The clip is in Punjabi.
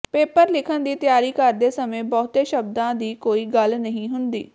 ਪੇਪਰ ਲਿਖਣ ਦੀ ਤਿਆਰੀ ਕਰਦੇ ਸਮੇਂ ਬਹੁਤੇ ਸ਼ਬਦਾਂ ਦੀ ਕੋਈ ਗੱਲ ਨਹੀਂ ਹੁੰਦੀ